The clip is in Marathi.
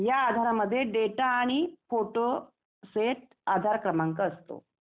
या आधार मध्ये डेटा आणि फोटो सेट आधार क्रमांक असतो.